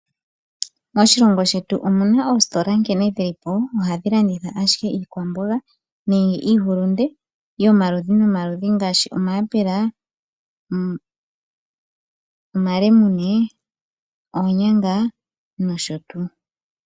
Moshilongo shetu omuna oositola nkene dhili po ohadhi landitha ashike iikwamboga nenge iihulunde yomaludhi nomaludhi ngaashi omayapula, omalemune, oonyanga nosho tuu.